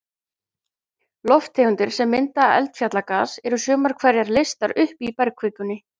Lofttegundir sem mynda eldfjallagas, eru sumar hverjar leystar upp í bergkvikunni.